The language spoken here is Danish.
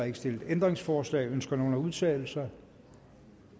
ikke stillet ændringsforslag ønsker nogen at udtale sig